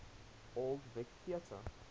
old vic theatre